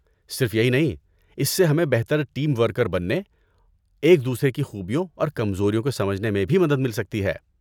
صرف یہی نہیں، اس سے ہمیں بہتر ٹیم ورکر بننے، ایک دوسرے کی خوبیوں اور کمزوریوں کو سمجھنے میں بھی مدد مل سکتی ہے۔